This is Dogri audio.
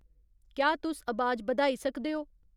क्या तुस अबाज बधाई सकदे ओ